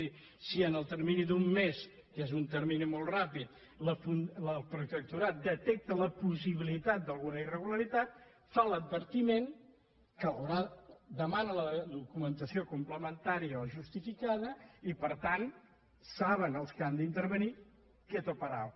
és a dir si en el termini d’un mes que és un termini molt ràpid el protectorat detecta la possibilitat d’alguna irregularitat fa l’advertiment de·mana la documentació complementària o justificada i per tant saben els qui han d’intervenir quieto parao